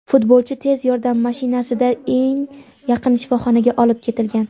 futbolchi tez yordam mashinasida eng yaqin shifoxonaga olib ketilgan.